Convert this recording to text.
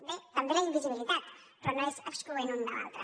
bé també la invisibilitat però no és excloent una de l’altra